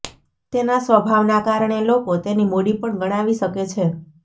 તેના સ્વભાવના કારણે લોકો તેની મૂડી પણ ગણાવી શકે છે